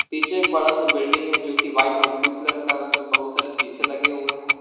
पीछे एक बड़ा से बिल्डिंग है जो कि व्हाइट और ब्लू कलर का उसपे बहुत सारे शीशे लगे हुए है।